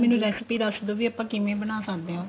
ਮੈਨੂੰ recipe ਦੱਸਦੋ ਵੀ ਆਪਾਂ ਕਿਵੇਂ ਬਣਾ ਸਕਦੇ ਆ